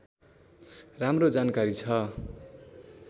राम्रो जानकारी छ